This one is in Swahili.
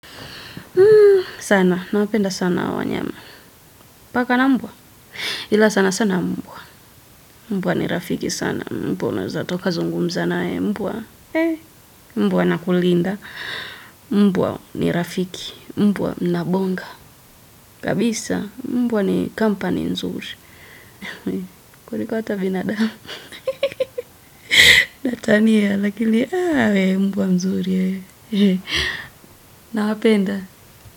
Sana, nawapenda sana hawa wanyama. Paka na mbwa. Ila sana sana mbwa. Mbwa ni rafiki sana mbwa. Naweza taka zungumza naye mbwa. Eeii mbwa ana kulinda. Mbua ni rafiki. Mbwa mnabonga. Kabisa mbwa ni kampani mzuri. Kuliko hata binadamu. Natania, lakili awe mbwa nzuri. Nawapenda.